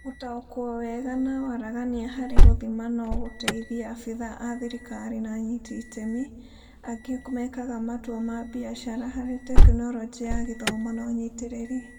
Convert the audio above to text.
Gũtaũkwo wega na waragania harĩ gũthima nogũteithie abithaa a thirikari na anyiti iteme angĩ mekaga matua ma biacara harĩ Tekinoronjĩ ya Gĩthomo na ũnyitĩrĩri.